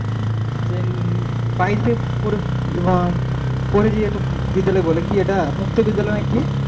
সেই বাইরে পরে যেটা বিদ্যালয় বলে কি এটা মুক্ত বিদ্যালয় নাকি,